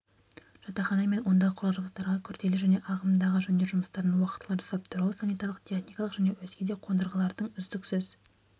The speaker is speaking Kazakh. жатақхана мен ондағы құрал-жабдықтарға күрделі және ағымдағы жөндеу жұмыстарын уақытылы жасап тұру санитарлық-техникалық және өзге де қондырғылардың үздіксіз